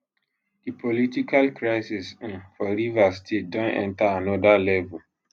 di political crisis um for rivers state don enta anoda level